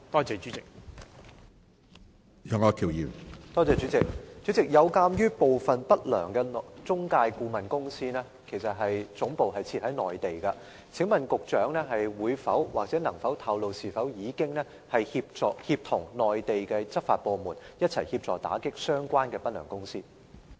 主席，鑒於部分不良中介顧問公司的總部設在內地，請問局長可否透露，當局是否已協同內地執法部門一起打擊相關的不良公司？